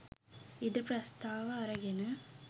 ඉඩ ප්‍රස්ථාව අරගෙන